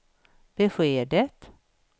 beskedet